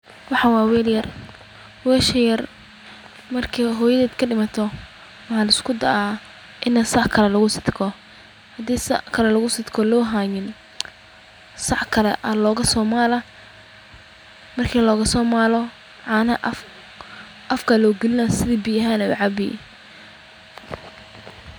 Waxaan waa weel yar, marki aay hoyadeed ka dimato, hadii sac kale loo haynin, sac kale ayaa laga soo maala sidi biya ahaan ayeey ucabi.